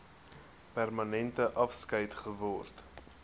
permanente afskeid geword